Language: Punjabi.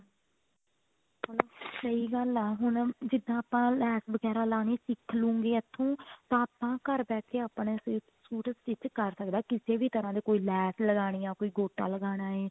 ਸਹੀ ਗੱਲ ਹੈ ਹੁਣ ਜਿੱਦਾਂ ਆਪਾਂ ਲੈਸ ਵਗੈਰਾ ਲਾਣੀ ਸਿੱਕਖ ਲੂਂਗੀ ਇੱਥੋਂ ਤਾਂ ਆਪਾਂ ਘਰ ਬੈਠ ਕੇ ਆਪਣੇ suit stich ਕਰ ਸਕਦੇ ਕਿਸੇ ਵੀ ਤਰ੍ਹਾਂ ਦੇ ਕੋਈ ਲੈਸ ਲਗਾਣੀ ਹੈ ਕੋਈ ਗੋਟਾ ਲਗਾਨਾ